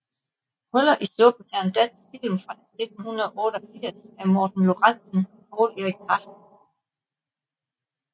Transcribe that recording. Huller i suppen er en dansk film fra 1988 af Morten Lorentzen og Povl Erik Carstensen